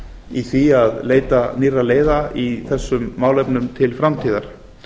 í því að leita nýrra leiða í þessum málefnum til framtíðar